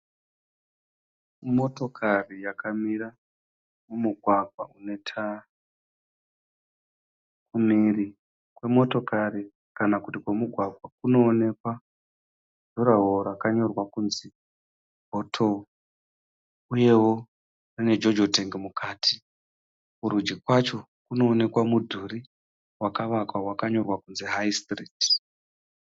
Motokari yakamira mumugwagwa metara. Kumhiri kwemotokari kana kuti kwomugwagwa kunoonekwa ruvara rwakanyorwa kuti bhotoro uyewo nejojo tengi mukati kurudyi kwacho kunoneka mudhuri vakawakwa vakanyorwa kunzi Hai stiriti